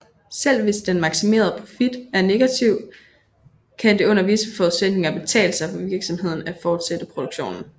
Selv hvis den maksimerede profit er negativ kan det under visse forudsætninger betale sig for virksomheden at fortsætte produktionen